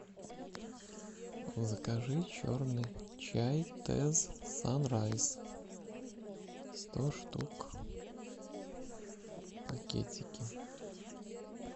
закажи черный чай тэсс санрайз сто штук пакетики